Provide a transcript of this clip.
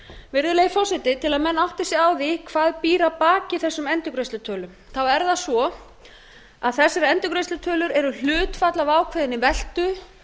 virðulegi forseti til að menn átti sig á því hvað býr að baki þessum endurgreiðslutölum þá er það svo að þessar endurgreiðslutölur eru hlutfall af ákveðinni veltu